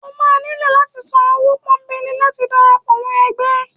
o ma niló lati sán ọwọ pọnbẹlé láti darapọ mọ ẹgbẹ